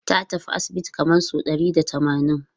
Ta tafi asibiti kamar sau ɗari da tamanin.